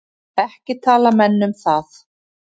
Ekki tala menn um það.